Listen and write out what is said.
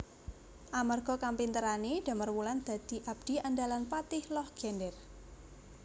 Amarga kapinterané Damarwulan dadi abdi andalan Patih Loh Gender